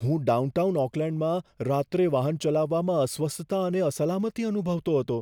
હું ડાઉનટાઉન ઓકલેન્ડમાં રાત્રે વાહન ચલાવવામાં અસ્વસ્થતા અને અસલામતી અનુભવતો હતો.